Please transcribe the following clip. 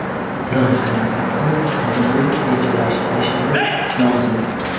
Loyihalarimizni tizimli rejalashtirishimiz lozim.